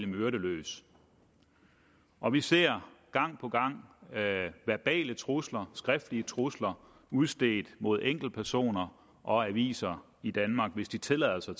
myrde løs og vi ser gang på gang verbale trusler skriftlige trusler udstedt mod enkeltpersoner og aviser i danmark hvis de tillader sig